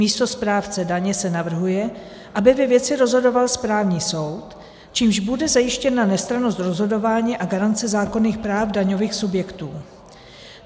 Místo správce daně se navrhuje, aby ve věci rozhodoval správní soud, čímž bude zajištěna nestrannost rozhodování a garance zákonných práv daňových subjektů.